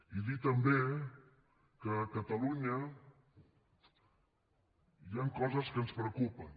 i dir també que a catalunya hi han coses que ens preocupen